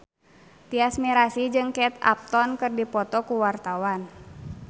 Tyas Mirasih jeung Kate Upton keur dipoto ku wartawan